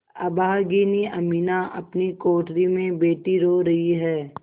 अभागिनी अमीना अपनी कोठरी में बैठी रो रही है